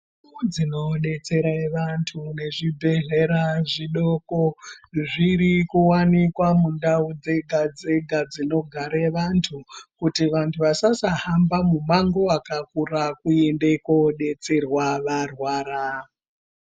Ndau dzinodetsera vanhu ngezvibhedhlera zvidoko zvirikuwanikwa mundau dzega dzega dzinogare vantu kuti vantu vasasa hamba mumango wakakura wekuende koodetserwa varwara.